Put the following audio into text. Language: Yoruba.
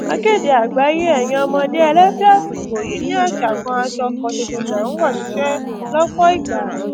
akéde àgbáyé ẹyin ọmọdé ẹlẹfẹ àsìkò yìí ni àṣà kan aṣọ kan ṣoṣo lè ń wọ síṣẹ lọpọ ìgbà